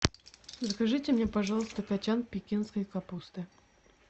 закажите мне пожалуйста кочан пекинской капусты